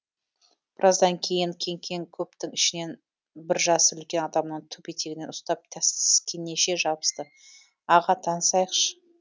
біраздан кейін кеңкең көптің ішінен бір жасы үлкен адамның түп етегінен ұстап таскенеше жабысты аға танысайықшы